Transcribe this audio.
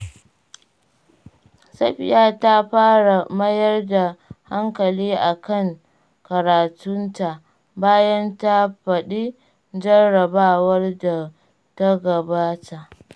Safiya ta fara mayar da hankali a kan karatunta, bayan ta faɗi jarrabawar da ta gabata.